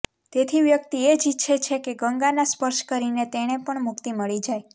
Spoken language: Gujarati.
તેથી વ્યક્તિ એ જ ઈચ્છે છેકે ગંગાના સ્પર્શ કરીને તેને પણ મુક્તિ મળી જાય